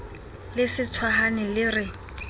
le se tshohane le re